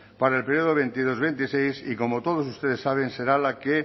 para el periodo dos mil veintidós dos mil veintiséis y que como todos ustedes saben será la que